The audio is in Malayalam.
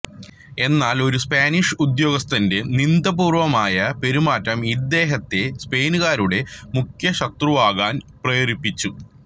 എന്നാൽ ഒരു സ്പാനിഷ് ഉദ്യോഗസ്ഥന്റെ നിന്ദാപൂർവമായ പെരുമാറ്റം ഇദ്ദേഹത്തെ സ്പെയിൻകാരുടെ മുഖ്യശത്രുവാകാൻ പ്രേരിപ്പിച്ചു